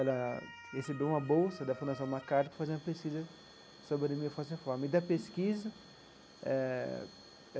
Ela recebeu uma bolsa da Fundação MacArthur para fazer uma pesquisa sobre anemia falciforme e da pesquisa eh